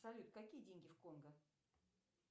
салют какие деньги в конго